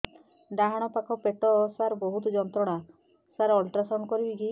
ଡାହାଣ ପାଖ ପେଟ ସାର ବହୁତ ଯନ୍ତ୍ରଣା ସାର ଅଲଟ୍ରାସାଉଣ୍ଡ କରିବି କି